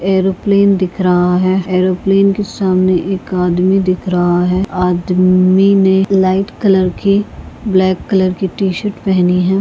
एक एरोप्लेन दिख रहा है एरोप्लेन के सामने एक आदमी दिख रहा है आदमी ने लाइट कलर की ब्लैक कलर की शर्ट पहनी है।